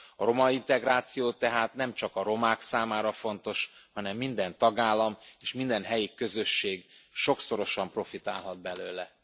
A romaintegráció tehát nem csak a romák számára fontos, hanem minden tagállam és minden helyi közösség sokszorosan profitálhat belőle.